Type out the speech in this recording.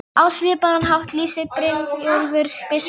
Kaupa sér velþóknun og frið með fórnargjöf.